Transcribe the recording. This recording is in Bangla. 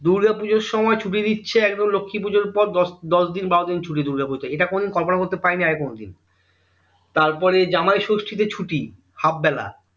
দূর্গা পুজোর সময় ছুটি দিচ্ছে একদম লক্ষী পুজোর পর দশ দশ দিন বারো দিন ছুটি থাকে দূর্গা পুজোতে এটা কোনোদিন কল্পনা করতে পারি নি আগে কোনো দিন তারপরে জামাইষষ্ঠী তে ছুটি half বেলা